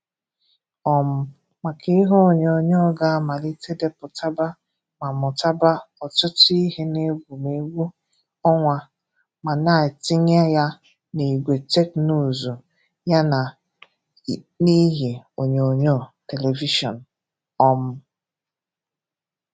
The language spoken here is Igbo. um maka ihe onyònyòó ga-amalite depụtàba ma mụtàba ọtụtụ ihe n’egwè̩mgwè̩ ọnwa ma na-etinye ha n’ìgwè Teknụzụ ya na n’ìhe onyònyòó (television). um